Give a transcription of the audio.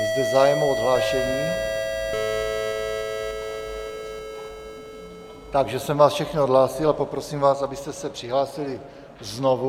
Je zde zájem o odhlášení, takže jsem vás všechny odhlásil a poprosím vás, abyste se přihlásili znovu.